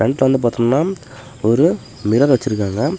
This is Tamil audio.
ஃப்ரெண்ட்ல வந்து பாத்தம்னா ஒரு மிரர் வெச்சிருக்காங்க.